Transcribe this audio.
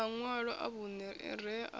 maṋwalo a vhunṋe a re